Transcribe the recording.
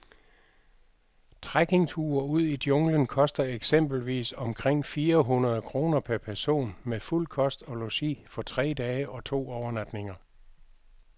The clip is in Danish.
Trekkingture ud i junglen koster eksempelvis omkring fire hundrede kroner per person med fuld kost og logi for tre dage og to overnatninger.